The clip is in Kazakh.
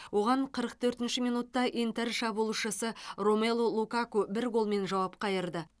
оған қырық төртінші минутта интер шабуылшысы ромелу лукаку бір голмен жауап қайырды